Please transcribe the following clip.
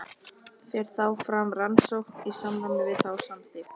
Fer þá fram rannsókn í samræmi við þá samþykkt.